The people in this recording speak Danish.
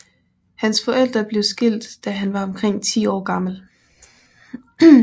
Hans forældre blev skilt da han var omkring 10 år gammel